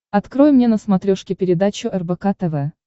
открой мне на смотрешке передачу рбк тв